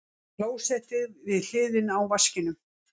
Klósettið við hliðina á vaskinum.